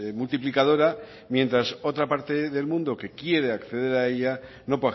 multiplicadora mientras otra parte del mundo que quiere acceder a ella no